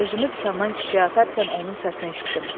Özümü dükandan küçəyə atarkən onun səsini eşitdim.